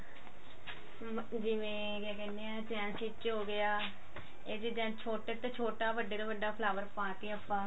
ਜਿਵੇਂ ਕਿਆ ਕਹਿਨੇ ਹਾਂ ਚੈਨ stich ਹੋਗਿਆ ਇਹਦੇ design ਛੋਟੇ ਤੋਂ ਛੋਟਾ ਵੱਡੇ ਤੋਂ ਵੱਡਾ flower ਪਾ ਕੇ ਆਪਾਂ